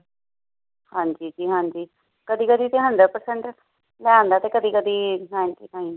ਹਾਂ ਜੀ, ਜੀਂ ਹਾਂਜੀ। ਕਦੀ ਕਦੀ ਹੁੰਡਰੇਡ ਪਰਸੇੰਟ ਲੈ ਆਉਂਦਾ ਹੈ। ਕਦੀ ਕਦੀ ਹਾਂ ਹਾਂ ਜੀ।